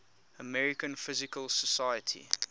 american physical society